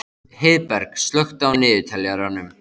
Heiðberg, slökktu á niðurteljaranum.